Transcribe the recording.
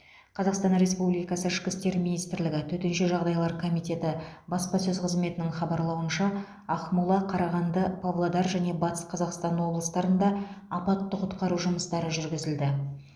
қазақстан республикасы ішкі істер министрлігі төтенше жағдайлар комитеті баспасөз қызметінің хабарлауынша ақмола қарағанды павлодар және батыс қазақстан облыстарында апатты құтқару жұмыстары жүргізілді